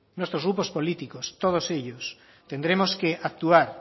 nuestros grupos políticos todos ellos tendremos que actuar